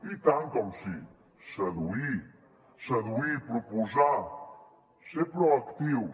i tant que sí seduir seduir i proposar ser proactius